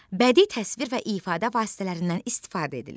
Bədii təsvir və ifadə vasitələrindən istifadə edilir.